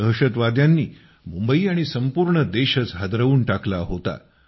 दहशतवाद्यांनी मुंबई आणि संपूर्ण देशच हादरवून टाकला होता